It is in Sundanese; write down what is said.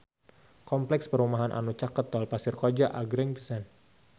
Kompleks perumahan anu caket Tol Pasir Koja agreng pisan